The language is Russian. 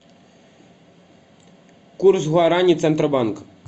курс гуарани центробанк